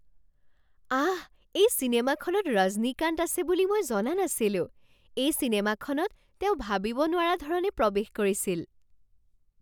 আহ! এই চিনেমাখনত ৰজনীকান্ত আছে বুলি মই জনা নাছিলো। এই চিনেমাখনত তেওঁ ভাবিব নোৱৰা ধৰণে প্ৰৱেশ কৰিছিল।